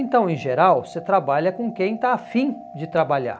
Então, em geral, você trabalha com quem está afim de trabalhar.